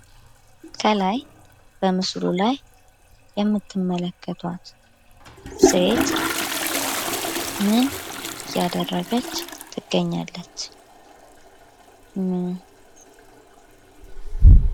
ከላይ በምስሉ ላይ የምትመለከቷት ሴት ምን እያደረገች ትገኛለች ?